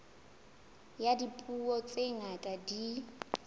ya dipuo tse ngata di